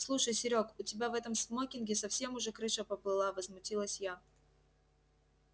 слушай серёг у тебя в этом смокинге совсем уже крыша поплыла возмутилась я